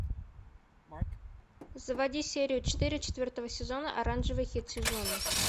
заводи серию четыре четвертого сезона оранжевый хит сезона